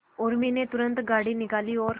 उर्मी ने तुरंत गाड़ी निकाली और